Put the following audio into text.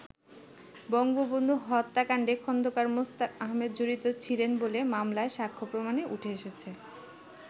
বঙ্গবন্ধু হত্যাকান্ডে খন্দকার মোশতাক আহমেদ জড়িত ছিলেন বলে মামলার সাক্ষ্য প্রমাণে উঠে এসেছে।